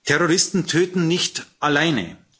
Terroristen töten nicht alleine.